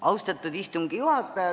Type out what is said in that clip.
Austatud istungi juhataja!